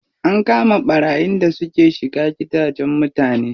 An kama ɓarayin da suke shiga gidajen mutane.